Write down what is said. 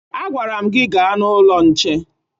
Agwara m gị gaa n'ụlọ nche!